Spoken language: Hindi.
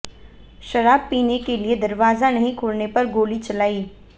शराब पीने के लिए दरवाजा नहीं खोलने पर गोली चलाई